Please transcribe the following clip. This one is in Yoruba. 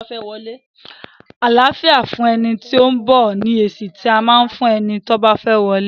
Àláfíà fún ẹni tí ó ń bọ̀! ni èsì tí à á fún eni ti ó fẹ́ wọlé.